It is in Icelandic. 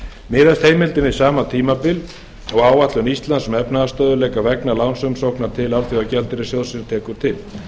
miðast heimildin við sama tímabil og áætlun íslands um efnahagsstöðugleika vegna lánsumsóknar til alþjóðagjaldeyrissjóðsins tekur til